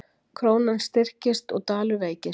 Krónan styrkist og dalur veikist